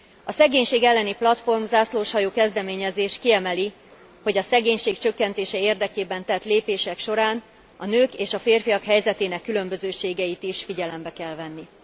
A szegénység elleni platform zászlóshajó kezdeményezés kiemeli, hogy a szegénység csökkentése érdekében tett lépések során a nők és a férfiak helyzetének különbözőségeit is figyelembe kell venni.